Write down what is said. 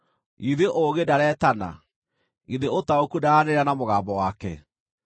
Githĩ ũũgĩ ndareetana? Githĩ ũtaũku ndaranĩrĩra na mũgambo wake?